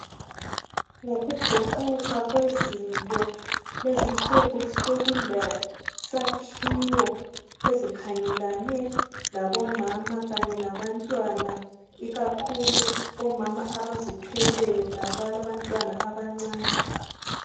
Ngokuguquka kwezinto lezinsuku sokulesakhiwo ezikhangelane labo mama kanye labantwana ikakhulu omama abazithwelayo labala bantwana abancane.